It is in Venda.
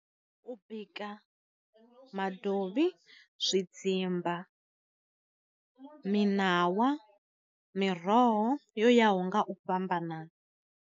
U bika madovhi, zwi dzimba, miṋawa, miroho yo yaho nga u fhambanana.